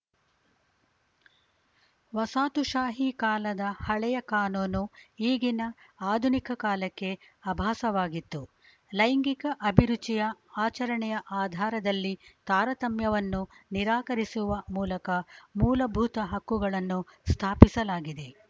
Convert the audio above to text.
ವಸಾತುಶಾಹಿ ಕಾಲದ ಹಳೆಯ ಕಾನೂನು ಈಗಿನ ಆಧುನಿಕ ಕಾಲಕ್ಕೆ ಅಭಾಸವಾಗಿತ್ತು ಲೈಂಗಿಕ ಅಭಿರುಚಿಯ ಆಚರಣೆಯ ಆಧಾರದಲ್ಲಿ ತಾರತಮ್ಯವನ್ನು ನಿರಾಕರಿಸುವ ಮೂಲಕ ಮೂಲಭೂತ ಹಕ್ಕುಗಳನ್ನು ಸ್ಥಾಪಿಸಲಾಗಿದೆ